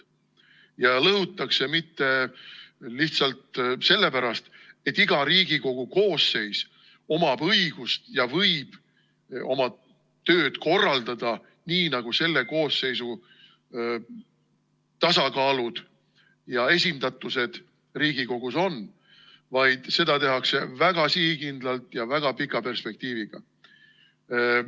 Neid ei lõhuta mitte lihtsalt sellepärast, et iga Riigikogu koosseis omab õigust ja võib oma tööd korraldada nii, nagu selle koosseisu tasakaal ja esindatus Riigikogus on, vaid seda tehakse väga sihikindlalt ja väga pika perspektiiviga.